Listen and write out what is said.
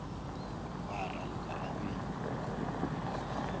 ba raloka a e be